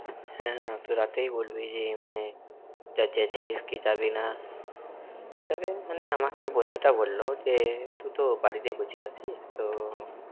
হ্যাঁ আমাকে রাতেই বলবি যে মানে, যাচ্ছিস কি যাবি না। তবে আমাকে বন্ধুটা বলল বলল যে তুই তো বাড়িতে বসে আছি তো